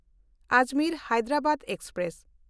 ᱟᱡᱽᱢᱮᱨ–ᱦᱟᱭᱫᱟᱨᱟᱵᱟᱫ express